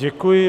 Děkuji.